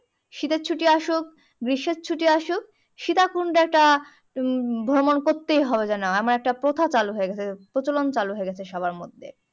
শীতের ছুটি আসুক গ্রীষ্ম এর ছুটি আসুক সীতাকুন্ড টা উম ভ্রমণ করতে হবে যেন আমার একটা প্রথা চালু হয়ে গেছে প্রচলন চালু হয়ে গেছে সবার মধ্যে